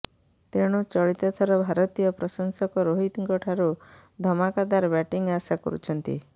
ତେଣୁ ଚଳିତ ଥର ଭାରତୀୟ ପ୍ରଶଂସକ ରୋହିତଙ୍କ ଠାରୁ ଧମାକାଦାର ବ୍ୟାଟିଂ ଆଶା କରୁଛନ୍ତି